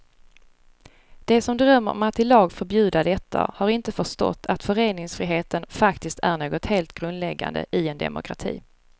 De som drömmer om att i lag förbjuda detta har inte förstått att föreningsfriheten faktiskt är något helt grundläggande i en demokrati.